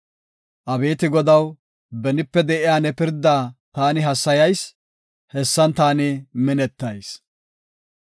Abeeti Godaw, benipe de7iya ne pirda taani hassayayis; hessan taani minettayis.